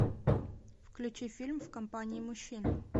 включи фильм в компании мужчин